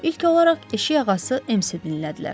İlk olaraq eşik ağası Emsi dinlədilər.